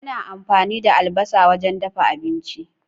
Ana amfani da albasa wajen dafa abinci.